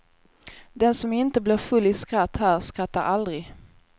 Den som inte blir full i skratt här skrattar aldrig.